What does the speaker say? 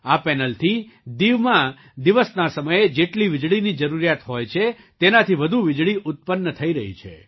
આ પેનલથી દીવમાં દિવસના સમયે જેટલી વીજળીની જરૂરિયાત હોય છે તેનાથી વધુ વીજળી ઉત્પન્ન થઈ રહી છે